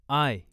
I